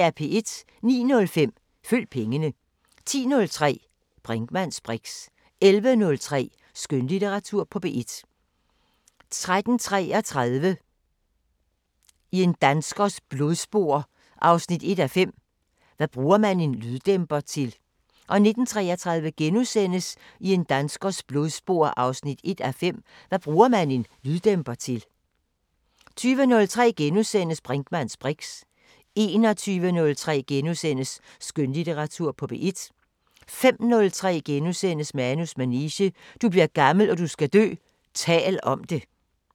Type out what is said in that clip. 09:05: Følg pengene 10:03: Brinkmanns briks 11:03: Skønlitteratur på P1 13:33: I en danskers blodspor 1:5 – Hvad bruger man en lyddæmper til? 19:33: I en danskers blodspor 1:5 – Hvad bruger man en lyddæmper til? * 20:03: Brinkmanns briks * 21:03: Skønlitteratur på P1 * 05:03: Manus manege: Du bliver gammel og du skal dø – tal om det *